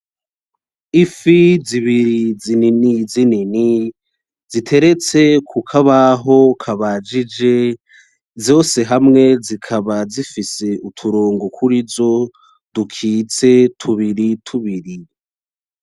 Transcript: Ifi, zibiri, zinini, zinini, ziteretse, kukabaho, kabajije, zose hamwe, zikaba, zifise, utorongo kurizo dukitse, tubiri tubiri.